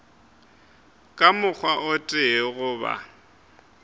ka mokgwa o tee goba